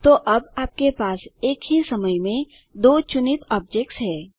तो अब आपके पास एक ही समय में दो चुनित ऑब्जेक्ट्स हैं